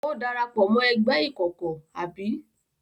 Ó dara pọ̀ mọ́ ẹgbẹ́ ìkọ̀kọ̀, abi?